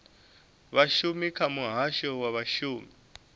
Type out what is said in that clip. vhashumi kha muhasho wa vhashumi